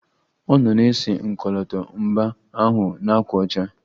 Ọ nọ na-ese ọkọlọtọ mba ahụ na ákwà ọcha